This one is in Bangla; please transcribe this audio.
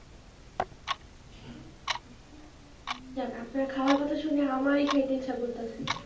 যাক আপনার খাওয়ার কথা শুনে আমারই খেতে ইচ্ছা করতাছে।